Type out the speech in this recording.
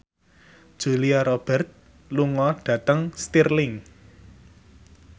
Julia Robert lunga dhateng Stirling